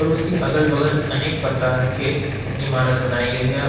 उसके अगल बगल अनेक प्रकार के इमारत बनाई गई है।